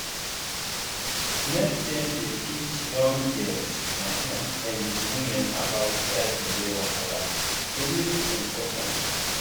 make dem dey teach young girls um and women about that belly wahala e really important